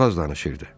Çox az danışırdı.